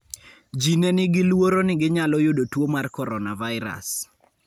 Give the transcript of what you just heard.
Ji ne nigi luoro ni ginyalo yudo tuo mar coronavirus.